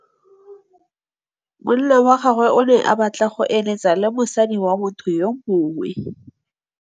Monna wa gagwe o ne a batla go êlêtsa le mosadi wa motho yo mongwe.